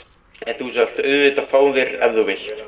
En þú skalt auðvitað fá þér ef þú vilt.